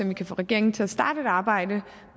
vi kan få regeringen til at starte et arbejde